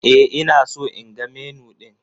E, ina so in ga Menu ɗin